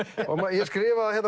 ég skrifa það